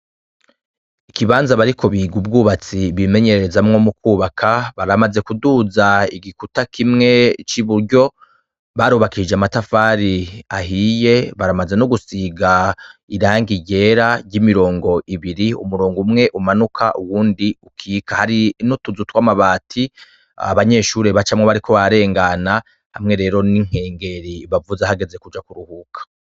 Ikibanza bariko biga ubwubatsi bimenyerezamwo mu kwubaka baramaze kuduza igikuta kimwe c'iburyo, barubakishije amatafari ahiye, baramaze no gusiga irangi ryera ry'imirongo ibiri umurongo umwe umanuka uwundi ukika, hari n'utuzu tw'amabati abanyeshuri bacamwo bariko bararengana, hamwe rero n'inkengeri bavuza hageze kuja kuruhuka.